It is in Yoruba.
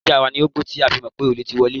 Ajá wa ni ó gbó tí a fi mọ̀ pé olè ti wọlé.